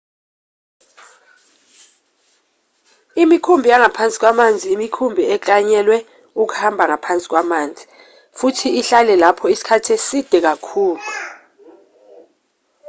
imikhumbi yangaphansi kwamanzi imikhumbi eklanyelwe ukuhamba ngaphansi kwamanzi futhi ihlale lapho isikhathi eside kakhulu